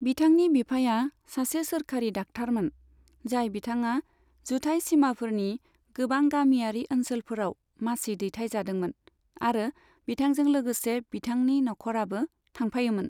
बिथांनि बिफाया सासे सोरखारि दाख्थारमोन, जाय बिथाङा जुथाइ सिमाफोरनि गोबां गामियारि ओनसोलफोराव मासि दैथायजादोंमोन, आरो बिथांजों लोगोसे बिथांनि नखराबो थांफायोमोन।